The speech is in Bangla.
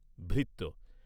ভৃত্য